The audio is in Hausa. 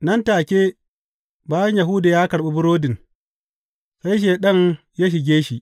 Nan take bayan Yahuda ya karɓi burodin, sai Shaiɗan ya shige shi.